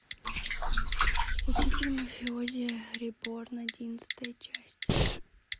учитель мафиози реборн одиннадцатая часть